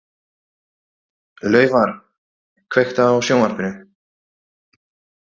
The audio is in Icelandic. Laufar, kveiktu á sjónvarpinu.